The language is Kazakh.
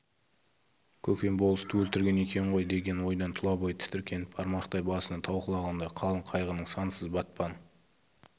көкем болысты өлтірген екен ғой деген ойдан тұла бойы тітіркеніп бармақтай басына тау құлағандай қалың қайғының сансыз батпан